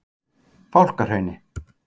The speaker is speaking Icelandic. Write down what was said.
Fálkahrauni